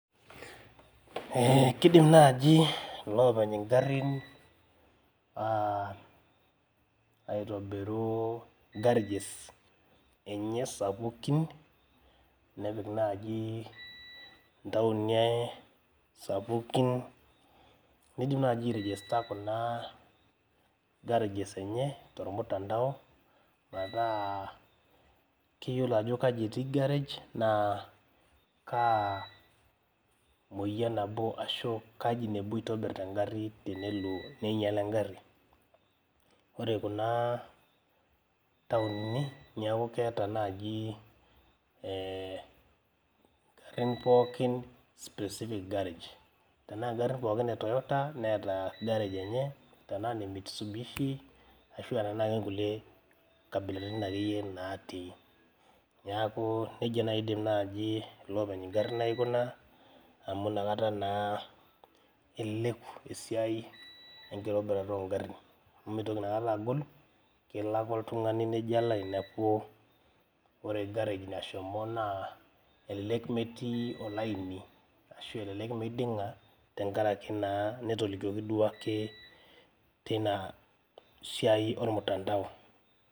Eh kidim naaji iloopeny ingarrin uh aitobiru garages enye sapukin nepik naaji ntaoni e sapukin nidim naaji ae rejesta kuna garages enye tormutandao metaa keyiolo ajo kaji etii garage naa kaa moyian nabo ashu kaji nebo itobirr tengarri tenelo neinyiala engarri ore kuna taoni niaku keeta naaaji eh ingarrin pookin specific garage tenaa ingarrin pookin e toyota neeta garage enye tenaa ine mitsubishi ashua tenaa kenkulie kabilaritin akeyie natii niaku nejia naaji idim naaji ilopeny ingarrin aikuna amu inakata naa eleleku esiai enkitobirata ongarrin amu mitoki inakata agol kelo ake oltung'ani nejo alo ainepu ore garage nashomo naa elelek metii olaini ashu elelek meiding'a tenkarake naa netolikioki duake teina siai ormtandao.